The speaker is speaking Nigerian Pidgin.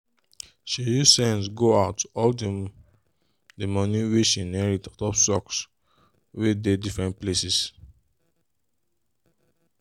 she use sense go out all the the money wey she inherit untop stocks wey dey different places.